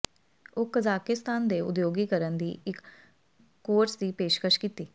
ਉਹ ਕਜ਼ਾਕਿਸਤਾਨ ਦੇ ਉਦਯੋਗੀਕਰਨ ਦੀ ਇੱਕ ਕੋਰਸ ਦੀ ਪੇਸ਼ਕਸ਼ ਕੀਤੀ